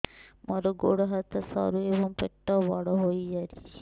ମୋର ଗୋଡ ହାତ ସରୁ ଏବଂ ପେଟ ବଡ଼ ହୋଇଯାଇଛି